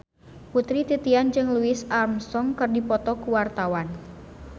Putri Titian jeung Louis Armstrong keur dipoto ku wartawan